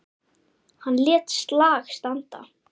Hann lét slag standa.